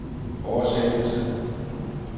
oversættelse